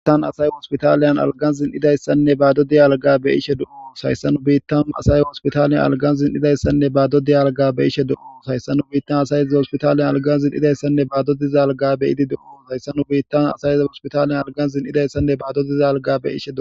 hiittan asay hoospitaliyan algan zin idayssanne baado diyalga be ishe do sayssanu biittan asay hoospitaliyan algan zin idayssanne baado diyalga be ishe do sayssanu biittan asayezi hoospitaliyan algan zin idayssanne baado dizalga be idi doo hayssanu biittan asayeze hoospitaliyan algan zin idayssanne baado diza alga be ishe o